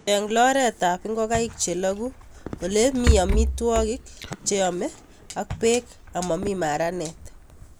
Cheng' loret ab ngokaik che lagu ole mito amitwok che yemei ak pek amami maranet